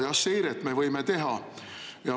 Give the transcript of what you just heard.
Jah, seiret me võime teha.